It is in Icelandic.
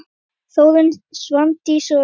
Þórunn, Svandís og Auður.